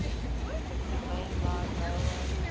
main line railway